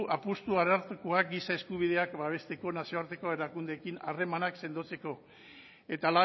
apustu arartekoak giza eskubideak babesteko nazioarteko erakundeekin harremanak sendotzeko eta